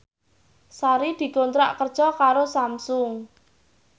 Sari dikontrak kerja karo Samsung